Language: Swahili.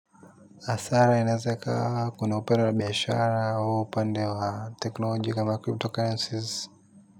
Hasara inaweza ikawa kuna upande wa biashara au upande wa teknolojia kama cryptocurrencies.